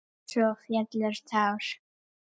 Svo féllu tár.